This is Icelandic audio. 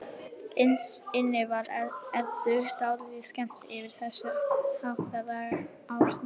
Innst inni var Eddu dálítið skemmt yfir þessu háttalagi Árnýjar.